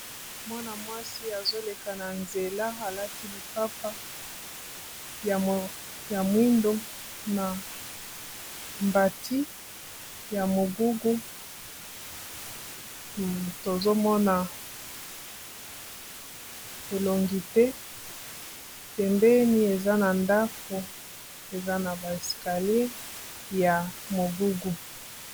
Mwana mwasi azoleka na nzela alati lipapa ya mwindo na mbati ya mogugu tozomona elongi te pembeni eza na ndako eza na ba eskalier ya mogugu